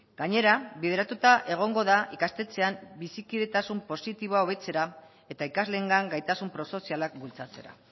gainera bideratuta egongo da ikastetxean bizikidetasun positiboa hobetzera eta ikasleengan gaitasun prosozialak bultzatzera